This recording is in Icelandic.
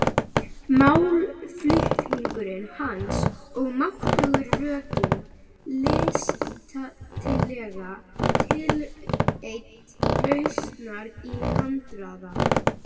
Málflutningur hans er máttugur, rökin listilega tilreidd, lausnirnar í handraða.